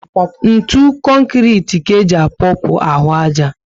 Ntụ konkrete ka eji apopu ahụ aja